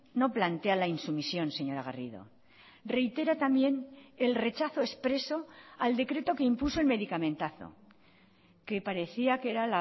no plantea la insumisión señora garrido reitera también el rechazo expreso al decreto que impuso el medicamentazo que parecía que era